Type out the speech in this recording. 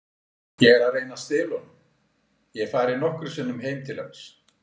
Ég er að reyna að stela honum, ég hef farið nokkrum sinnum heim til hans.